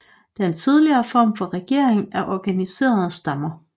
Den tidligere form for regering er organiserede stammer